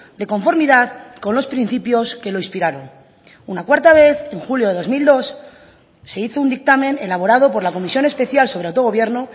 de conformidad con los principios que lo inspiraron una cuarta vez en julio de dos mil dos se hizo un dictamen elaborado por la comisión especial sobre autogobierno